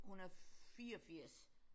Hun er 84